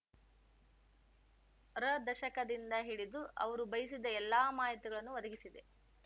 ರ ದಶಕದಿಂದ ಹಿಡಿದು ಅವರು ಬಯಸಿದ ಎಲ್ಲಾ ಮಾಹಿತಿಗಳನ್ನು ಒದಗಿಸಿದೆ